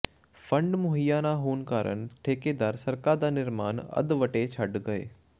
fund ਮੁਹੱਈਆ ਨਾ ਹੋਣ ਕਾਰਨ ਠੇਕੇਦਾਰ ਸੜਕਾਂ ਦਾ ਨਿਰਮਾਣ ਅਧਵੱਟੇ ਛੱਡ ਗਏ